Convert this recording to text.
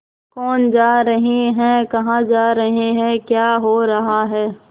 कौन जा रहे हैं कहाँ जा रहे हैं क्या हो रहा है